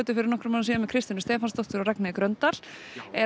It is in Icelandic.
fyrir nokkrum árum síðan með Kristjönu Stefáns og Ragnheiði Gröndal er